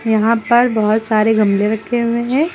यहां पर बहोत सारे गमले रखे हुए हैं।